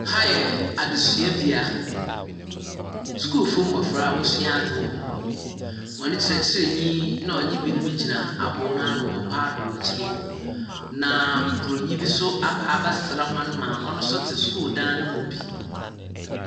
Aha yɛ adesuabea a adesuafo mmofra asuade wɔhɔ, wɔn kyerɛkyerɛni wɔne ɛbinom gyina abo na no. Na broni bi nso aba bɛsra wɔn ma ɔno nso te dan no mu bi.